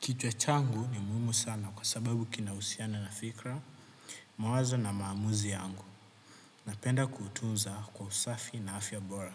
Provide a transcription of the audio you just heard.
Kichwa changu ni muhimu sana kwa sababu kina usiana na fikra, mawazo na maamuzi yangu, napenda kutunza kwa usafi na afya bora.